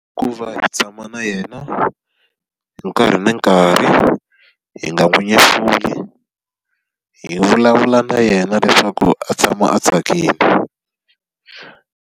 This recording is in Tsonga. Ku va hi tshama na yena nkarhi ni nkarhi, hi nga n'wi nyefuli. Hi vulavula na yena leswaku a tshama a tsakile.